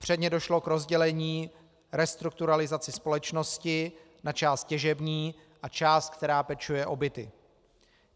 Předně došlo k rozdělení restrukturalizace společnosti na část těžební a část, která pečuje o byty.